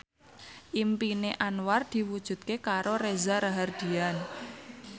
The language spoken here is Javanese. impine Anwar diwujudke karo Reza Rahardian